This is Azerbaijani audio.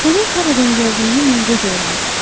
Onun haradan gəldiyini mən gec öyrəndim.